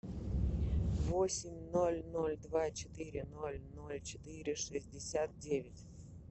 восемь ноль ноль два четыре ноль ноль четыре шестьдесят девять